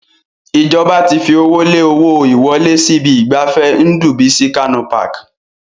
Ìjọba ti fi owó lé owó ìwọlé sí ibi ìgbafẹ́ Ndubuisi Kanu Park.